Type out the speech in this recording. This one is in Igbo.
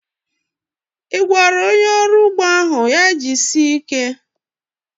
I gwara onye ọrụ ugbo ahu ya jisie ike?